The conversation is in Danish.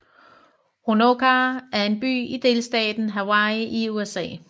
Honokaa er en by i delstaten Hawaii i USA